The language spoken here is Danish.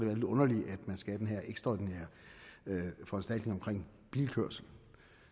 lidt underligt at man skal have den her ekstraordinære foranstaltning omkring bilkørsel